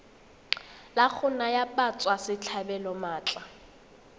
la go naya batswasetlhabelo maatla